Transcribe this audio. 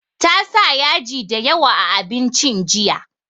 Ta sa yaji da yawa a abincin jiya